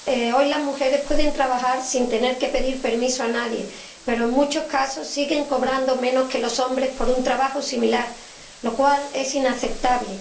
Hoy las mujeres pueden trabajar sin tener que pedir permiso a nadie pero, en muchos casos, siguen cobrando menos que los hombres por un trabajo similar, lo cual es inaceptable.